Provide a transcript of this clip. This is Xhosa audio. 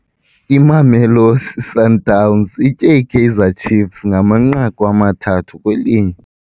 Imamelosi Sundowns itye iKaizer Ciefs ngamanqaku amathathu kwelinye.